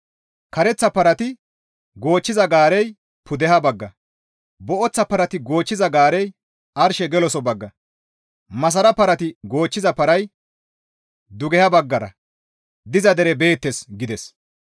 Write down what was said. Kareththa parati goochchiza gaarey pudeha bagga, booththa parati goochchiza gaarey arshe geloso bagga, masara parati goochchiza paray dugeha baggara diza dere beettes» gides.